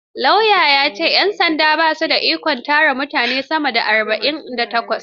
Lauya ya ce; 'yan sandan ba su da ikon tsare mutum sama da Awa arba'in da takwas.